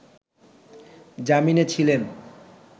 জামিনে ছিলেন